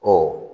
Ɔ